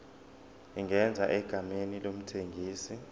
ingekho egameni lomthengisi